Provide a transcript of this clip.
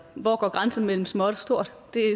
hvor går grænsen mellem småt og stort det